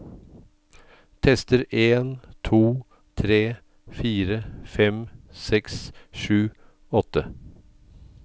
Tester en to tre fire fem seks sju åtte